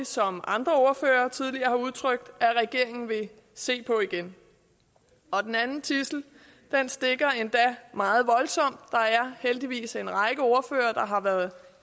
som andre ordførere tidligere har udtrykt at regeringen vil se på igen den anden tidsel stikker endda meget voldsomt der er heldigvis en række ordførere der har været